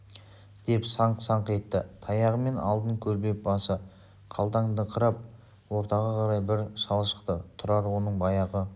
деп саңқ-санқ етті таяғымен алдын көлбеп басы қалтандаңқырап ортаға қарай бір шал шықты тұрар оның баяғы